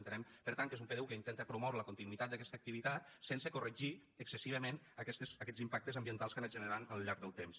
entenem per tant que és un pdu que intenta promoure la continuïtat d’aquesta activitat sense corregir excessivament aquests impactes ambientals que ha anat generant al llarg del temps